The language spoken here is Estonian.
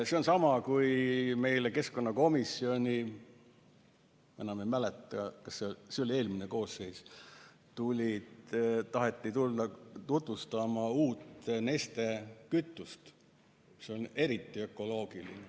See on sama, kui meile keskkonnakomisjoni taheti tulla – enam ei mäleta, kas see oli eelmises koosseisus – tutvustama uut Neste kütust, mis on eriti ökoloogiline.